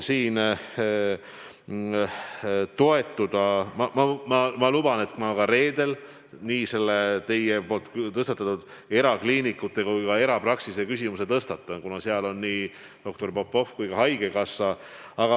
Ma luban, et ma reedel teie tõstatatud küsimust erakliinikute ja erapraksiste kohta arutan, kuna seal on kohal nii doktor Popov kui ka haigekassa.